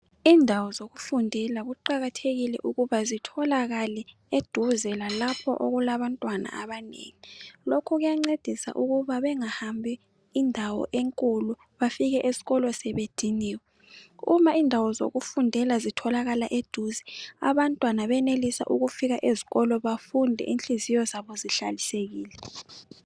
Indawo zokufundela kuqakathekile ukuba zitholakale eduze lalapho okulabantwana abanengi lokhu kuyancedisa ukuba bengahambi indawo enkulu bafike esikolo sebediniwe uma indawo zokufundela zitholakala eduze abantwana benelisa ukufika ezikolo bafunde inhliziyo zabo zihlanzekile.